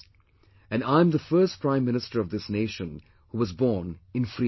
And I am the first Prime Minister of this nation who was born in free India